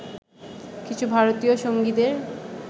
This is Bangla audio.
কিছু ভারতীয় সঙ্গীদের